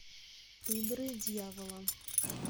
игры дьявола